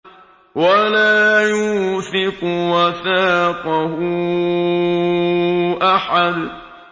وَلَا يُوثِقُ وَثَاقَهُ أَحَدٌ